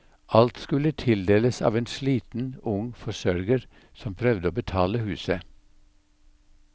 Alt skulle tildeles av en sliten, ung forsørger som prøvde å betale huset.